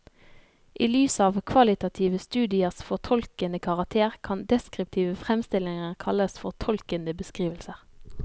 I lys av kvalitative studiers fortolkende karakter kan deskriptive fremstillinger kalles fortolkende beskrivelser.